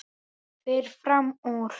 Fer fram úr.